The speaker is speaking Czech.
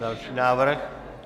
Další návrh.